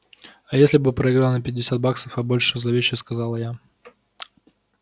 а если бы проиграл на пятьдесят баксов а больше зловеще сказала я